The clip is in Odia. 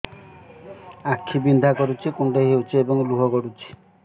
ଆଖି ବିନ୍ଧା କରୁଛି କୁଣ୍ଡେଇ ହେଉଛି ଏବଂ ଲୁହ ଗଳୁଛି